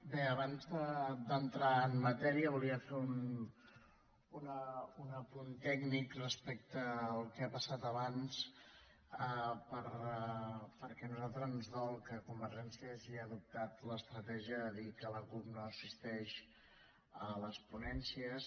bé abans d’entrar en matèria volia fer un apunt tècnic respecte al que ha passat abans perquè a nosaltres ens dol que convergència hagi adoptat l’estratègia de dir que la cup no assisteix a les ponències